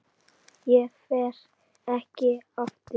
Ég fer ekki aftur.